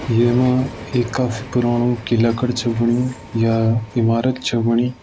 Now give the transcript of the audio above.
येमा एक कफ पुराणु किला कड छा बण्यूं या ईमारत छ बणी।